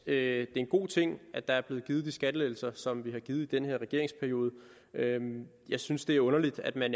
er en god ting at der er blevet givet de skattelettelser som vi har givet i den her regeringsperiode jeg synes det er underligt at